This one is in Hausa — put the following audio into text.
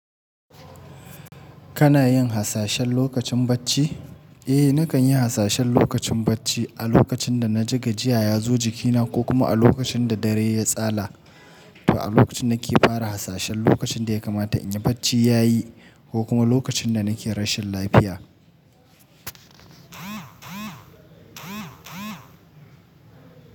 Kana yin hasashen lokacin bacci? Eh, nakan yi hasashen lokacin bacci a lokacin da na ji gajiya ya zo jikina ko kuma a lokacin da dare ya tsalla. To a lokacin nake fara hasashen lokacin da ya kamata in yi bacci ya yi ko kuma lokacin da nake rashin lafiya.